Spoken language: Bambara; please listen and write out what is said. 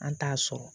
An t'a sɔrɔ